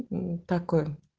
мм такой